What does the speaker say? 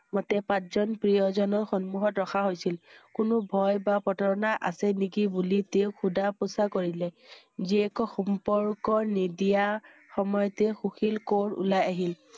মতে পাঁচ জন প্ৰিয় জনৰ সন্মুখত ৰখা হৈছিল। কোনো ভয় বা প্ৰতাৰণা আছে নেকি বুলি তেওঁক শুধা পুচা কৰিলে। জীয়েকৰ সম্প~ৰ্কৰ নিদিয়া সময়তে সুশীল কৌৰ ওলাই আহিল।